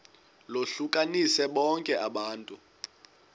lohlukanise bonke abantu